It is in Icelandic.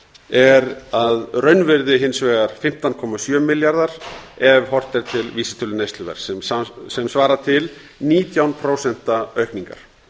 er að raunvirði hins vegar fimmtán komma sjö milljarðar ef horft er til vísitölu neysluverðs sem svarar til nítján prósent aukningar